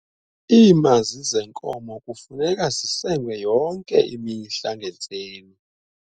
iimazi zeenkomo kufuneka zisengwe yonke imihla ngentseni